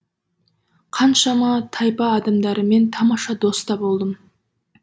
қаншама тайпа адамдарымен тамаша дос та болдым